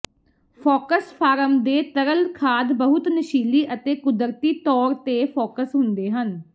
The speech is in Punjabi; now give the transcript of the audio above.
ਫੌਕਸ ਫਾਰਮ ਦੇ ਤਰਲ ਖਾਦ ਬਹੁਤ ਨਸ਼ੀਲੀ ਅਤੇ ਕੁਦਰਤੀ ਤੌਰ ਤੇ ਫੋਕਸ ਹੁੰਦੇ ਹਨ